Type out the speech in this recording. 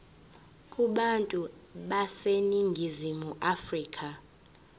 kubantu baseningizimu afrika